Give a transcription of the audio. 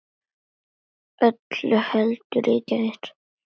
Öllu heldur í gær.